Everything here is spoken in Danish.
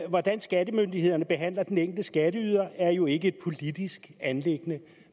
hvordan skattemyndighederne behandler den enkelte skatteyder er jo ikke et politisk anliggende